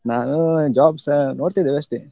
ನಾನು job ಸ ನೋಡ್ತಿದ್ದದ್ದಷ್ಟೇ.